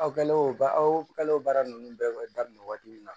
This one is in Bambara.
Aw kɛlen o ba aw kale o baara ninnu bɛɛ daminɛ waati min na